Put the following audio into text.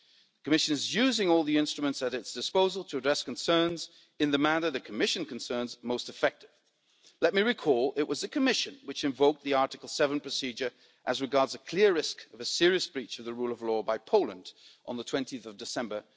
The Commission is using all the instruments at its disposal to address concerns, in the manner the Commission considers most effective. Let me remind you it was the Commission which invoked the Article 7 procedure as regards a clear risk of a serious breach of the rule of law by Poland on 20 December